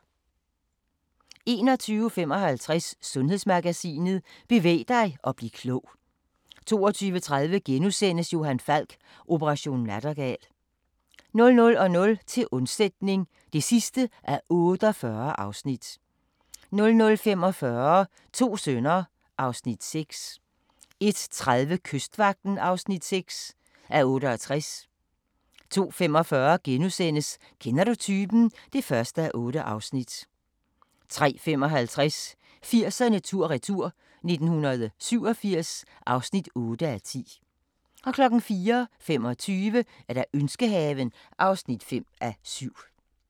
21:55: Sundhedsmagasinet: Bevæg dig og bliv klog 22:30: Johan Falk: Operation Nattergal * 00:00: Til undsætning (48:48) 00:45: To sønner (Afs. 6) 01:30: Kystvagten (6:68) 02:45: Kender du typen? (1:8)* 03:55: 80'erne tur-retur: 1987 (8:10) 04:25: Ønskehaven (5:7)